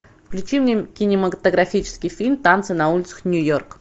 включи мне кинематографический фильм танцы на улицах нью йорка